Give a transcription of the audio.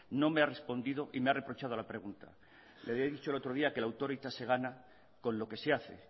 no me ha respondido y me ha reprochado la pregunta le había dicho el otro día que la autoritas se gana con lo que se hace